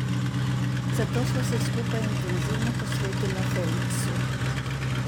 Zato sva se skupaj intenzivno posvetila Feliksu.